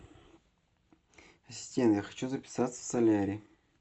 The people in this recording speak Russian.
ассистент я хочу записаться в солярий